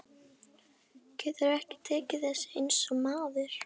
Ég skírskota um það til heilbrigðs hyggjuvits almennings.